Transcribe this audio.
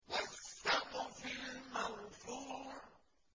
وَالسَّقْفِ الْمَرْفُوعِ